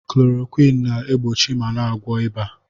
Klorowịn na-egbochi ma na-agwọ ịba.